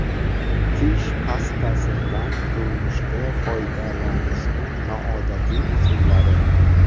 Tish pastasidan turmushda foydalanishning noodatiy usullari.